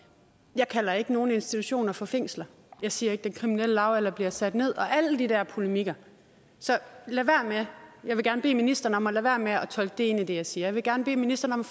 jeg kalder ikke nogen institutioner for fængsler og jeg siger ikke den kriminelle lavalder bliver sat ned eller af alle de der polemikker så jeg vil gerne bede ministeren om at lade være med at tolke det ind i det jeg siger jeg vil gerne bede ministeren om